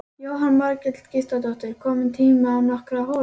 Jóhanna Margrét Gísladóttir: Kominn tími á nokkrar holur?